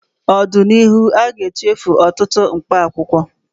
N'ọdịnihu, aga-echefusi ọtụtụ mkpaakwụkwọ